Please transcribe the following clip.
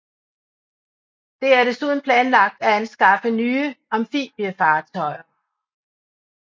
Det er desuden planlagt at anskaffe nye amfibiefartøjer